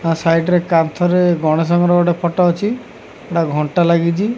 ତା ସାଇଡ ରେ କାନ୍ତରେ ଗଣେଶଙ୍କର ଗୋଟେ ଫଟୋ ଅଛି ଘଣ୍ଟା ଲାଗିଚି।